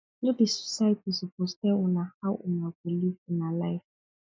no be society suppose tell una how una go live una life